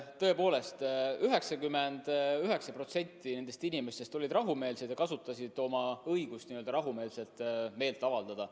Tõepoolest, 99% nendest inimestest olid rahumeelsed ja kasutasid oma õigust rahumeelselt meelt avaldada.